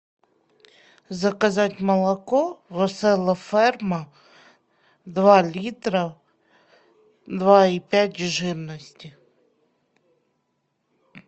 заказать молоко веселая ферма два литра два и пять жирности